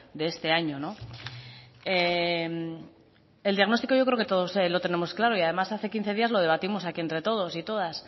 de este año el diagnóstico yo creo que todos los tenemos claro y además hace quince días lo debatimos aquí entre todos y todas